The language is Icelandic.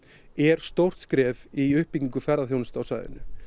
er stórt skref í uppbyggingu ferðaþjónustu á svæðinu